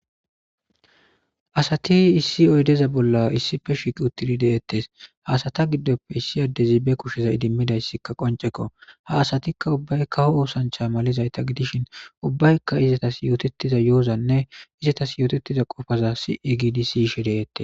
asati issi oydeza bolla issife shiqi uttidi deettes haasata giddoppe issi addezibe kusheza idimmidayssikka qoncekko ha asatikka ubbaykka ho oosancha malizayta gidishin ubbaykka izatas yootettiza yo7ozanne izatas yootettiza qofaza si7i giidi siishe deettes